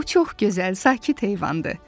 O çox gözəl, sakit heyvandır.